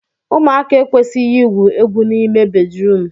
ụmụaka ekwesịghị igwu egwu n'ime bedrum